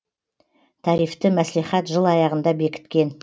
тарифті мәслихат жыл аяғында бекіткен